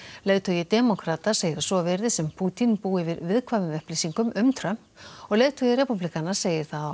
leiðtogi demókrata segir að svo virðist sem Pútín búi yfir viðkvæmum upplýsingum um Trump og leiðtogi repúblikana segir það á